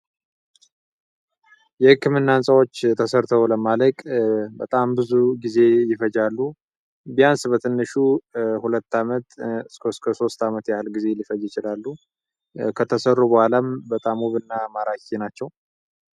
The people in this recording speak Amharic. የህክምናዎች የተሠርተው ለማለት በጣም ብዙ ጊዜ ይፈጃሉ ቢያንስ በትንሹ ሁለት አመት ሶስት አመት ያህል ጊዜ ይችላሉ በኋላም በጣም እና አማራጭ ናቸው